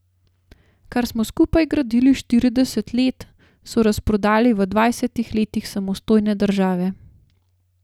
Kar smo skupaj gradili štirideset let, so razprodali v dvajsetih letih samostojne države.